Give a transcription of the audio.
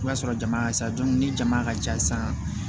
I b'a sɔrɔ jama ka ca dɔn ni jama ka ca san